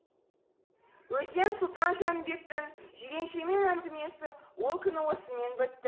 өзден сұлтан жәнібектің жиреншемен әңгімесі ол күні осымен бітті